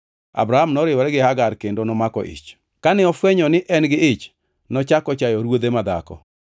Abram noriwore gi Hagar kendo nomako ich. Kane ofwenyo ni en gi ich, nochako chayo ruodhe madhako.